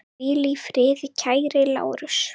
Hvíl í friði kæri Lárus.